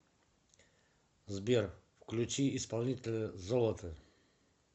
сбер включи исполнителя золото